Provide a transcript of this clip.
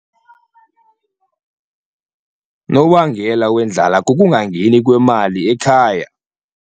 Unobangela wendlala kukungangeni kwemali ekhaya.